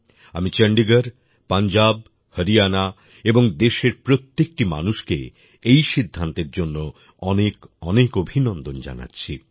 আমি চন্ডীগড় পাঞ্জাব হরিয়ানা এবং দেশের প্রত্যেকটি মানুষকে এই সিদ্ধান্তের জন্য অনেক অনেক অভিনন্দন জানাচ্ছি